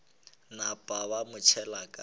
napa ba mo tšhela ka